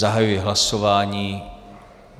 Zahajuji hlasování.